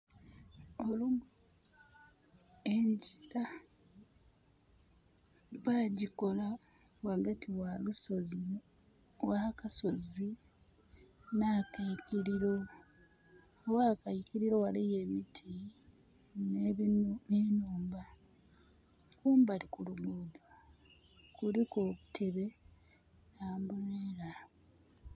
Engira bagikola ghagati wa lusozi, wa kasozi na keikiriro. Agh'akeikiriro ghaligho emiti ne nhumba. Kumbali ku lugudho kuliku obutebe n'ambulela.